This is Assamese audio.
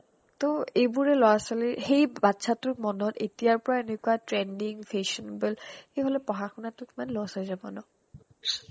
টৌ এইবোৰে ল'ৰা-ছোৱালীৰ সেই বাচ্ছাটোৰ মনত এতিয়াৰ পৰা এনেকুৱা trending fashionable সেইফালে পঢ়া শুনাতো কিমান loss হৈ যাব ন